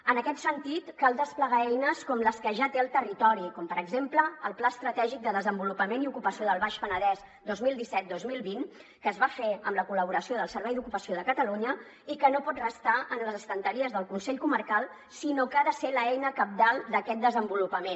en aquest sentit cal desplegar eines com les que ja té el territori com per exemple el pla estratègic de desenvolupament i ocupació del baix penedès dos mil disset dos mil vint que es va fer amb la col·laboració del servei d’ocupació de catalunya i que no pot restar en les estanteries del consell comarcal sinó que ha de ser l’eina cabdal d’aquest desenvolupament